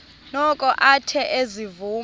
noko athe ezivuma